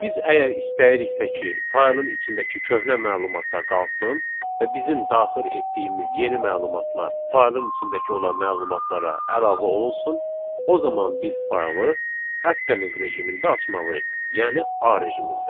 Biz əgər istəyiriksə ki, faylın içindəki köhnə məlumatlar qalsın və bizim daxil etdiyimiz yeni məlumatlar faylın içindəki olan məlumatlara əlavə olunsun, o zaman biz faylı appending rejimində açmalıyıq, yəni A rejimində.